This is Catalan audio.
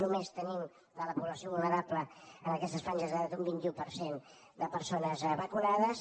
només tenim de la població vulnerable en aquestes franges d’edat un vint un per cent de persones vacunades